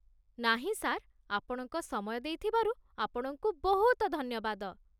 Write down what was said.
ନାହିଁ ସାର୍, ଆପଣଙ୍କ ସମୟ ଦେଇଥିବାରୁ ଆପଣଙ୍କୁ ବହୁତ ଧନ୍ୟବାଦ